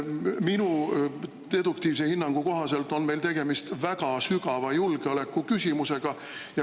Minu deduktiivse hinnangu kohaselt on meil tegemist väga terava julgeolekuküsimusega.